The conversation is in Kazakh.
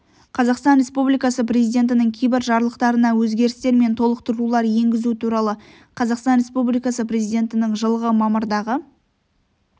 қазақстан республикасы президентінің кейбір жарлықтарына өзгерістер мен толықтырулар енгізу туралы қазақстан республикасы президентінің жылғы мамырдағы